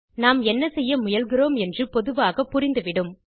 நாம் என்ன செய்ய முயல்கிறோம் என்று பொதுவாக புரிந்து விடும்